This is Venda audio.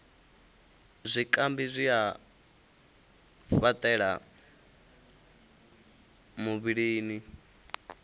zwikambi zwi a fhaṱela muvhilini